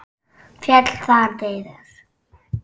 Féll þar niður.